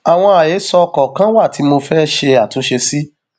àwọn àhesọ kọọkan wà tí mo fẹẹ ṣe àtúnṣe sí